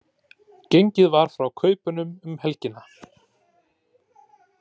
Gengið var frá kaupunum um helgina